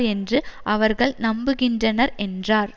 என்று அவர்கள் நம்புகின்றனர் என்றார்